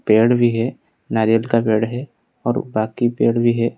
पेड़ भी है नारियल का पेड़ है और बाकी पेड़ भी है।